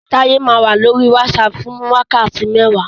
Táyẹ́ máa wá lórí WhatsApp fún wákàtí mẹ́wàá